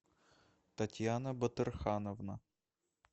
татьяна батырхановна